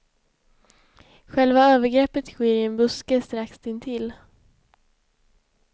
Själva övergreppet sker i en buske strax intill.